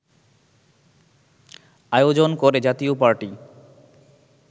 আয়োজন করে জাতীয় পার্টি